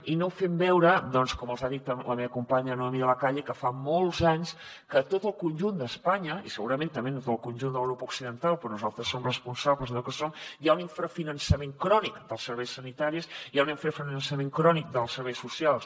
i no fem veure doncs com els ha dit la meva companya noemí de la calle que fa molts anys que a tot el conjunt d’espanya i segurament també a tot el conjunt de l’europa occidental però nosaltres som responsables d’allò que som hi ha un l’infrafinançament crònic dels serveis sanitaris hi ha un infrafinançament crònic dels serveis socials